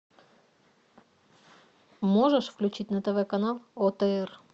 можешь включить на тв канал отр